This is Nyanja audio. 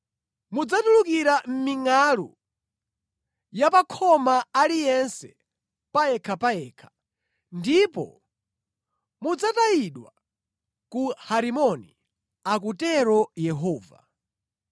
Mudzatulukira mʼmingʼalu ya pa khoma aliyense payekhapayekha, ndipo mudzatayidwa ku Harimoni,” akutero Yehova.